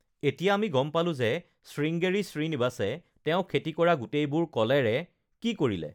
এতিয়া আমি গম পালোঁ যে শৃংগেৰী শ্ৰীনিবাসে তেওঁ খেতি কৰা গোটেইবোৰ কলেৰে কি কৰিলে!